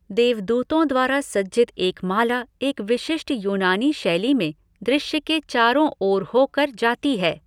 देवदूतों द्वारा सज्जित एक माला एक विशिष्ट यूनानी शैली में दृश्य के चारो ओर हो कर जाती है।